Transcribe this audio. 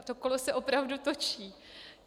A to kolo se opravdu točí.